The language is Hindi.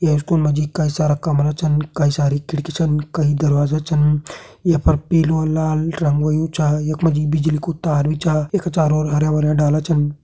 ये स्कूल मा जी कई सारा कमरा छन कई सारी खिड़की छन कई दरवाजा छन य पर पीलू लाल रंग होयुं चा यख मा जी बिजली कू तार भी चा यख चारों ओर हरयां भरयां डाला छन।